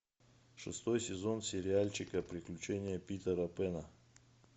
шестой сезон сериальчика приключения питера пэна